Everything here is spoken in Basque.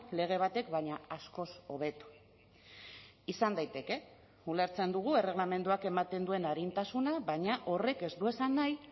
lege batek baina askoz hobeto izan daiteke ulertzen dugu erregelamenduak ematen duen arintasuna baina horrek ez du esan nahi